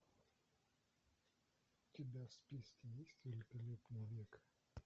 у тебя в списке есть великолепный век